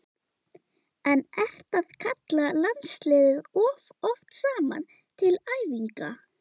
En ertu að kalla landsliðið of oft saman til æfinga?